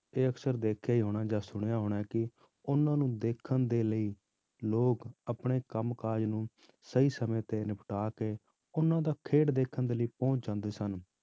ਇਹ ਅਕਸਰ ਦੇਖਿਆ ਹੀ ਹੋਣਾ ਜਾਂ ਸੁਣਿਆ ਹੋਣਾ ਕਿ ਉਹਨਾਂ ਨੂੰ ਦੇਖਣ ਦੇ ਲਈ ਲੋਕ ਆਪਣੇ ਕੰਮ ਕਾਜ ਨੂੰ ਸਹੀ ਸਮੇਂ ਤੇ ਨਿਪਟਾ ਕੇ, ਉਹਨਾਂ ਦਾ ਖੇਡ ਦੇਖਣ ਦੇ ਲਈ ਪਹੁੰਚ ਜਾਂਦੇ ਸਨ